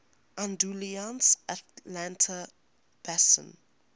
andalusian atlantic basin